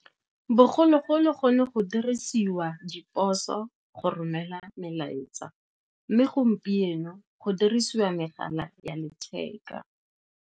Bogologolo go ne go dirisiwa diposo go romela melaetsa, mme gompieno go dirisiwa megala ya letheka.